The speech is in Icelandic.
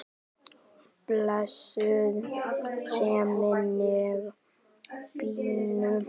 Blessuð sé minning Binnu.